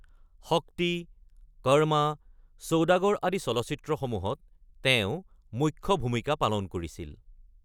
শক্তি, কৰমা, ছৌদাগাৰ আদি চলচ্চিত্ৰসমূহত তেওঁ মুখ্য ভূমিকা পালন কৰিছিল।